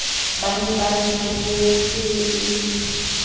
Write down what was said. ba ne ba ntshoketse e